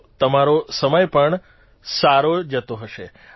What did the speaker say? તો તમારો સમય પણ સારો જતો હશે